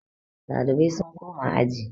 Ɗalibai sun koma aji